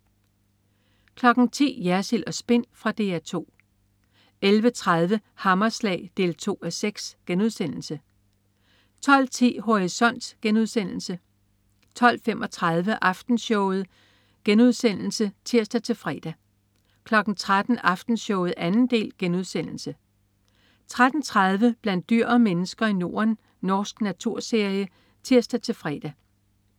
10.00 Jersild & Spin. Fra DR 2 11.30 Hammerslag 2:6* 12.10 Horisont* 12.35 Aftenshowet* (tirs-fre) 13.00 Aftenshowet 2. del* (tirs-fre) 13.30 Blandt dyr og mennesker i Norden. Norsk naturserie (tirs-fre)